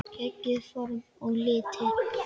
Geggjuð form og litir.